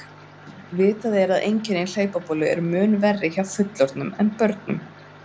Vitað er að einkenni hlaupabólu eru mun verri hjá fullorðnum en börnum.